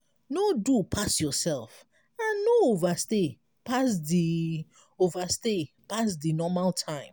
no do pass yourself and no overstay pass di overstay pass di normal time